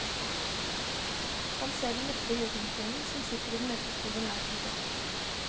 Han ser den mektige jotunkvinnen som sitter i den mørke skogen langt mot øst.